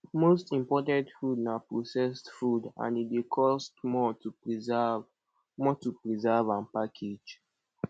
most imported food na processed food and e dey cost more to preserve more to preserve and package